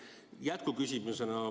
Ja jätkuküsimus.